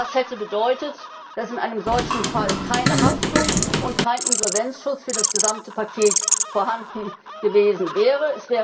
Das hätte bedeutet, dass in einem solchen Fall keine Haftung und kein Insolvenzschutz für das gesamte Paket vorhanden gewesen wären.